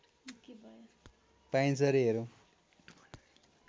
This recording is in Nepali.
पाइन्छ रे हेरौँ